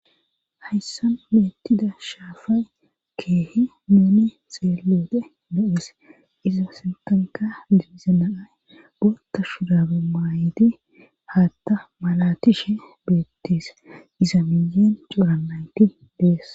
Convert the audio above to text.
hayssan meettida shaafay keehi muune seeloode do7es iza sentanka dibzenaay boota shudabu maayiti haatta malatishe beetteese iza miyeen cuura naynti dees